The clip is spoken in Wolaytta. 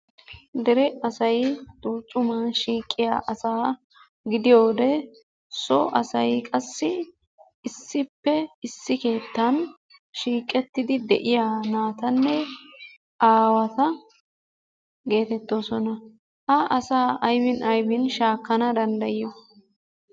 Dere asay tuujjuman shiiqiyaasaa gidiyooge so asay qassi issippe issi keettan shiiqettidi de'iyaa naatanne aawata getettoosona. Ha asaa aybbin aybbin shaakana danddayiyoo?